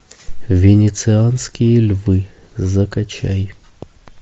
венецианские львы закачай